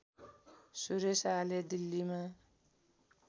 सुरेश आले दिल्लीमा